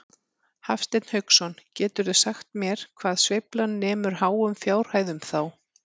Hafsteinn Hauksson: Geturðu sagt mér hvað sveiflan nemur háum fjárhæðum þá?